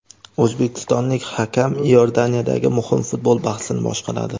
O‘zbekistonlik hakam Iordaniyadagi muhim futbol bahsini boshqaradi.